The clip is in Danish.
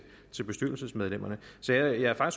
bestyrelsesmedlemmerne så jeg er